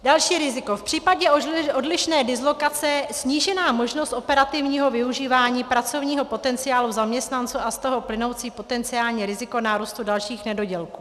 Další riziko - v případě odlišné dislokace snížená možnost operativního využívání pracovního potenciálu zaměstnanců a z toho plynoucí potenciální riziko nárůstu dalších nedodělků.